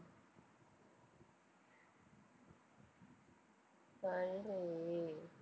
சொல்றி